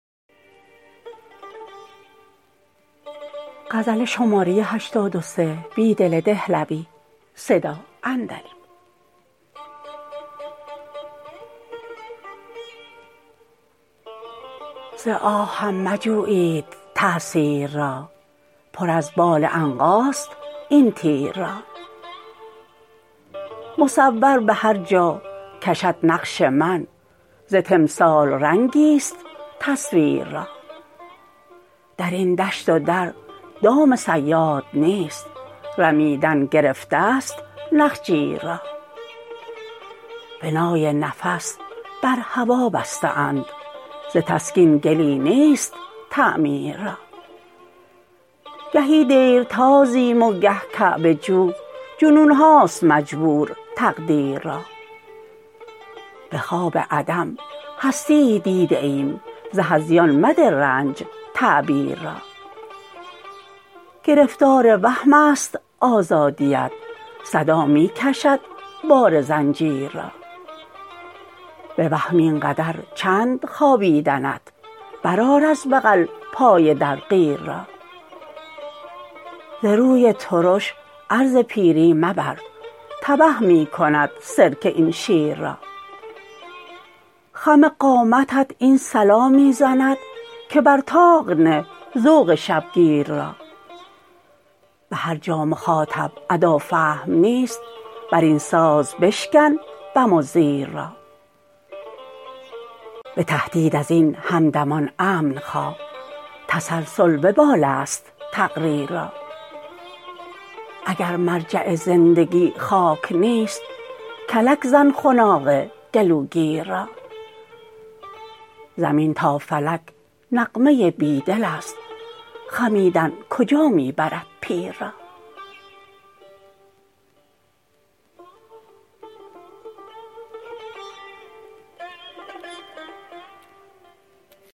ز آهم مجویید تأثیر را پر از بال عنقاست این تیر را مصور به هر جا کشد نقش من ز تمثال رنگی ست تصویر را درین دشت و در دام صیاد نیست رمیدن گرفته ست نخجیر را بنای نفس بر هوا بسته اند زتسکین گلی نیست تعمیر را گهی دیر تازیم وگه کعبه جو جنونهاست مجبور تقدیر را به خواب عدم هستیی دیده ایم ز هذیان مده رنج تعبیر را گرفتار وهم است آزادی ات صدا می کشد بار زنجیر را به وهم اینقدر چند خوابیدنت برآر از بغل پای در قیر را زروی ترش عرض پیری مبر تبه می کند سرکه ین شیر را خم قامتت این صلا می زند که بر طاق نه ذوق شبگیر را به هرجا مخاطب ادا فهم نیست برین ساز بشکن بم وزیر را به تهدید ازین همدمان امن خواه تسلسل وبال است تقریر را اگر مرجع زندگی خاک نیست کلک زن خناق گلوگیر را زمین تا فلک نغمه بیدل ست خمیدن کجا می برد پیر را